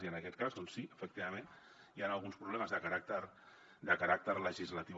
i en aquest cas doncs sí efectivament hi han alguns problemes de caràcter legislatiu